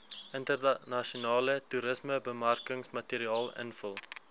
internasionale toerismebemarkingsmateriaal invul